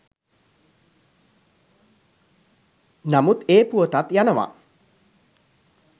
නමුත් ඒ පුවතත් යනව